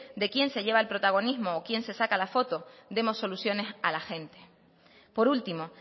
de quién se lleve el protagonismo o quién se saca la foto demos soluciones a la gente por último